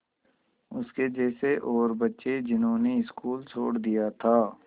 उसके जैसे और बच्चे जिन्होंने स्कूल छोड़ दिया था